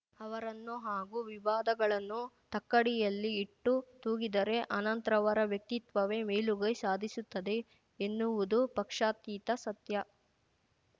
ಅವರನ್ನು ಹಾಗೂ ವಿವಾದಗಳನ್ನು ತಕ್ಕಡಿಯಲ್ಲಿ ಇಟ್ಟು ತೂಗಿದರೆ ಅನಂತ್‌ ರವರ ವ್ಯಕ್ತಿತ್ವವೇ ಮೇಲುಗೈ ಸಾಧಿಸುತ್ತದೆ ಎನ್ನುವುದು ಪಕ್ಷಾತೀತ ಸತ್ಯ